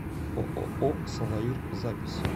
ооо салаир запись